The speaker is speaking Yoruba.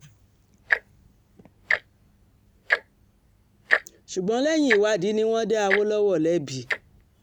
ṣùgbọ́n lẹ́yìn ìwádìí ni wọ́n dá awolowo lẹ́bi